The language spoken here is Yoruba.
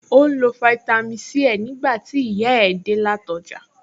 Ó ń lo fáítámì Sí ẹ̀ nígbà tí ìyá ẹ̀ dé láti ọjà